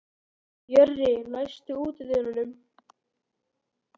Jörri, læstu útidyrunum.